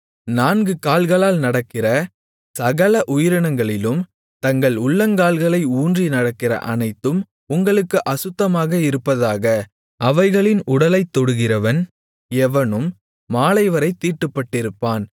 நான்கு கால்களால் நடக்கிற சகல உயிரினங்களிலும் தங்கள் உள்ளங்கால்களை ஊன்றி நடக்கிற அனைத்தும் உங்களுக்கு அசுத்தமாக இருப்பதாக அவைகளின் உடலைத்தொடுகிறவன் எவனும் மாலைவரைத் தீட்டுப்பட்டிருப்பான்